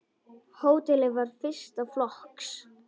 Hótelið var fyrsta flokks.